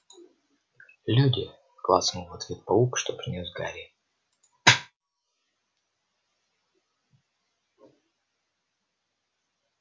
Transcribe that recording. люди клацнул в ответ паук что принёс гарри